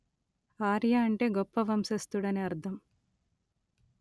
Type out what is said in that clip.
ఆర్య అంటే గొప్ప వంశస్థుడు అని అర్ధం